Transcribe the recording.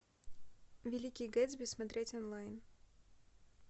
великий гэтсби смотреть онлайн